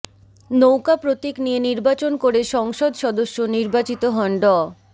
নৌকা প্রতীক নিয়ে নির্বাচন করে সংসদ সদস্য নির্বাচিত হন ড